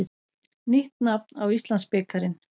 Nýtt nafn á Íslandsbikarinn.